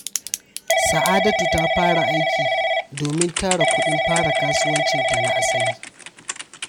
Sa’adatu ta fara aiki domin tara kuɗin fara kasuwancinta na asali.